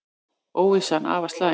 Óvissan afar slæm